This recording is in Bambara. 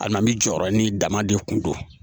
A na mi jɔyɔrɔ ni dama de kun don